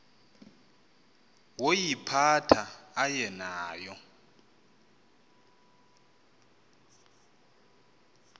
woyiphatha aye nayo